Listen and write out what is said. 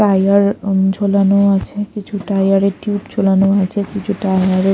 tyre অ্যা ঝোলানো আছে কিছু টায়ার -এর টিউব ঝোলানো আছে কিছু টায়ার -এর--